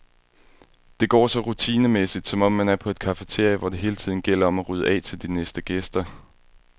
Det går så rutinemæssigt, som om man er på et cafeteria, hvor det hele tiden gælder om at rydde af til de næste gæster.